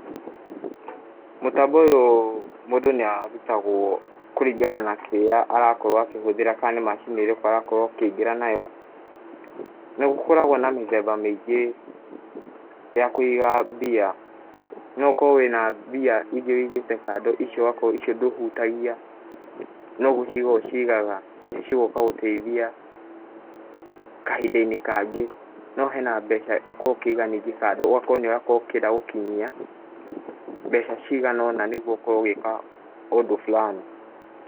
Mũtambo ũyũ mũndũ nĩarutagwo kũringana na kĩrĩa arakorwo akĩhũthĩra kana nĩ macini ĩrĩkũ arakorwo akĩingĩra nayo. Nĩgũkoragwo na mĩthemba mĩingĩ ya kũiga mbia, no ũkorwo wĩna mbia iria wũigĩte kando icio ndũhutagia no gũciga ũcigaga igoka gũteithia kahinda-inĩ kangĩ. No hena mbeca ũkoragwo ningĩ ũkĩiga kando ũgakorwo ningĩ nĩũkwendaga gũkinyia mbeca cigana ũna nĩguo ũkorwo ũgĩka ũndũ fulani .